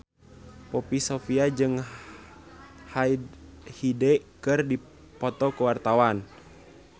Poppy Sovia jeung Hyde keur dipoto ku wartawan